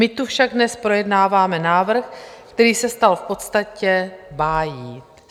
My tu však dnes projednáváme návrh, který se stal v podstatě bájí.